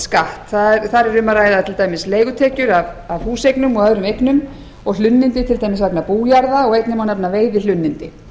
skatt þar er um að ræða til dæmis leigutekjur af húseignum og öðrum eignum og hlunnindi til dæmis vegna bújarða og einnig má nefna veiðihlunnindi